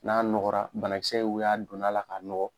N'a nɔgɔra banakisɛ y'o y'a donna la k'a nɔgɔ.